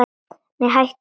Nei, hættu nú alveg!